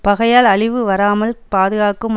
பகையால் அழிவு வாராமல் பாதுகாக்கும்